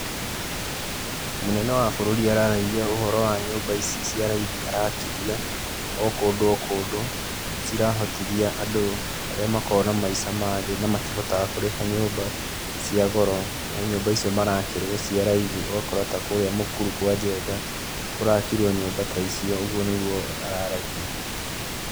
Mũnene wa bũrũri araragia ũhoro wa nyũmba ici cia raithi arakithia o kũndũ o kũndũ. Cirahotithia andũ arĩa makoragwo na maica ma thĩ na matihotaga kũrĩha nyũmba cia goro he nyumba icio marakĩrwo cia raithi ũgakora ta kũrĩa mũkuru kwa Njenga kũrakirwo nyũmba ta icio. ũguo nĩguo araragia.